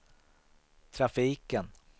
trafiken